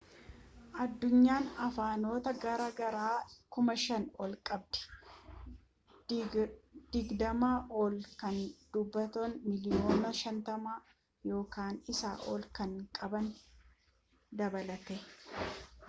addunyaan afaanota garaa garaa 5,000 ol qabdi digdamaa ol kan dubbattoota miiliyoona 50 yookaan isaa olii kan qaban dabalatee